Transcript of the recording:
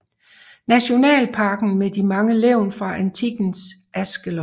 Nationalparken med de mange levn fra antikkens Ashkelon